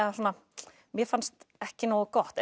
mér fannst ekki nógu gott